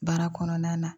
Baara kɔnɔna na